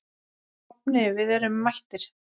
Nafni, við erum mættir